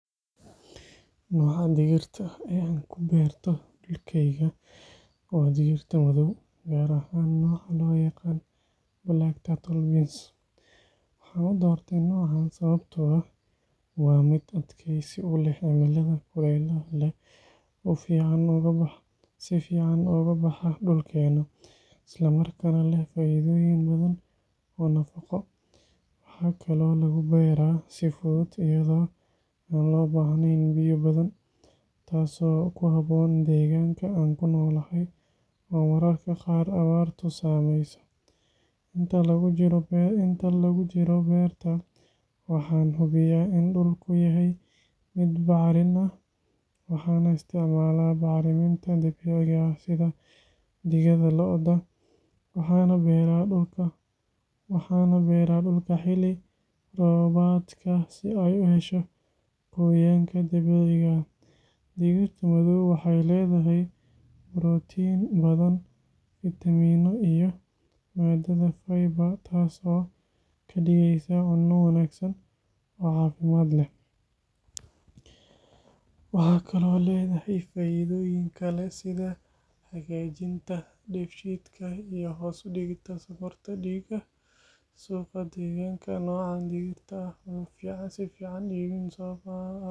Nooca digirta ah ee aan ku beerto dhulkayga waa digirta madow, gaar ahaan nooca loo yaqaan Black Turtle Beans. Waxaan u doortay noocaan sababtoo ah waa mid adkaysi u leh cimilada kulaylaha leh, si fiican uga baxa dhulkeena, isla markaana leh faa’iidooyin badan oo nafaqo. Waxaa kaloo lagu beeraa si fudud iyadoo aan loo baahnayn biyo badan, taasoo ku habboon deegaanka aan ku noolahay oo mararka qaar abaartu saameyso. Inta lagu jiro beerta, waxaan hubiyaa in dhulku yahay mid bacrin ah, waxaana isticmaalaa bacriminta dabiiciga ah sida digada lo’da. Waxaan beeraa dhulka xilli roobaadka si ay u hesho qoyaanka dabiiciga ah. Digirta madow waxay leedahay borotiin badan, fiitamiinno iyo maadada fiber, taas oo ka dhigaysa cunno wanaagsan oo caafimaad leh. Waxay kaloo leedahay faa’iidooyin kale sida hagaajinta dheefshiidka iyo hoos u dhigidda sonkorta dhiigga. Suuqa deegaanka, noocan digirta ah wuu si fiican u iibmaa sababtoo ah dad badan ayaa doorbida. Markaad dooranayso digir, waxaa muhiim ah in aad eegto wax-soosaarka, adkeysiga cudurrada, iyo in suuqa si fudud looga helo.